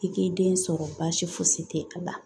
I k'i den sɔrɔ baasi fosi tɛ a la